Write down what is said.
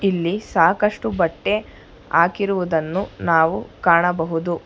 ಇಲ್ಲಿ ಸಾಕಷ್ಟು ಬಟ್ಟೆ ಹಾಕಿರುವುದನ್ನು ನಾವು ಕಾಣಬಹುದು.